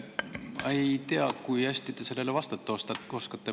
Ma ei tea, kui hästi te sellele vastata oskate.